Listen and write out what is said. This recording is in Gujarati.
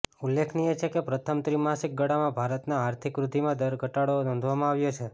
ઉલ્લેખનીય છે કે પ્રથમ ત્રિમાસિક ગાળામાં ભારતના આર્થિક વૃદ્ધિ દરમાં ઘટાડો નોંધવામાં આવ્યો છે